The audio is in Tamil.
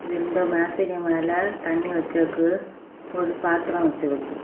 ரெண்டு மேசைகு மேல தண்ணி வெசிருக்கு ஒரு பாத்திரம் வெசிற்றுகு.